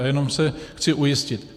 A jenom se chci ujistit.